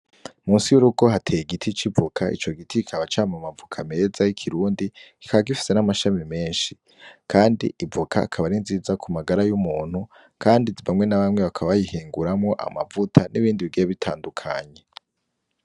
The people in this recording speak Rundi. Musi y'urugo hateye igiti c'ivoka, ico giti kikaba cama amavoka meza y'ikirundi, kikaba gifise n'amashami menshi. Kandi ivoka ikaba ari nziza ku magara y'umuntu kandi bamwe na bamwe bakaba bayihinguramwo amavuta n'ibindi bigiye bitandukanye.